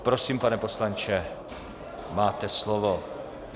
Prosím, pane poslanče, máte slovo.